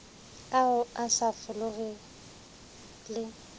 ao a sa folego le